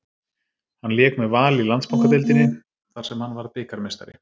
Hann lék með Val í Landsbankadeildinni þar sem hann varð bikarmeistari.